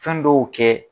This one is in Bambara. Fɛn dɔw kɛ